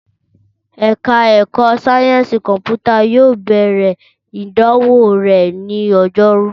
Ẹ̀ka ẹ̀kọ́ sáyẹ́ǹsì kọ̀mpútà yóò bẹ̀rẹ̀ ìdánwò rẹ̀ ní Ọjọ́rú